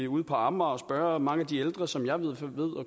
ude på amager og spørge mange af de ældre som jeg